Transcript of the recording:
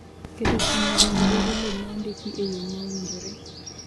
Keto stima e gwenge dwaro lowo ma ondiki e yo ma owinjore.